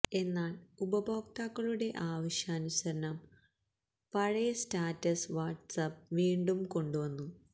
എന്നാല് ഉപഭോക്താക്കളുടെ ആവശ്യാനുസരണം പഴയ സ്റ്റാറ്റസ് വാട്ട്സാപ്പ് വീണ്ടും കൊണ്ടു വന്നു